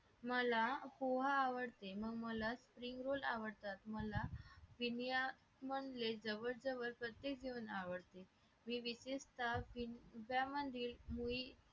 मला पोहा आवडते मला स्प्रिंग रोल आवडतात मला पिनया मधले जवळजवळ प्रत्येक जेवण आवडते मी विशिष्ट पिनया मधील मुळे